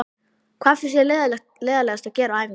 Hvað finnst þér leiðinlegast að gera á æfingu?